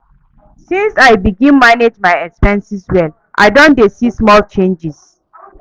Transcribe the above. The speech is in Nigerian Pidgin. Since I begin manage my expenses well, I don dey see small changes.